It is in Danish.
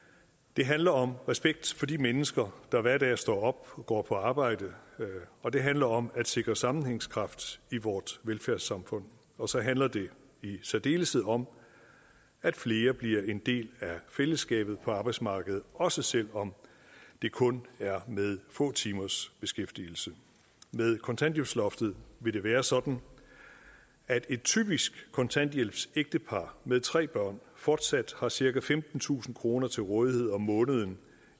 det handler om respekt for de mennesker der hver dag står op og går på arbejde og det handler om at sikre sammenhængskraft i vores velfærdssamfund og så handler det i særdeleshed om at flere bliver en del af fællesskabet på arbejdsmarkedet også selv om det kun er med få timers beskæftigelse med kontanthjælpsloftet vil det være sådan at et typisk kontanthjælpsægtepar med tre børn fortsat har cirka femtentusind kroner til rådighed om måneden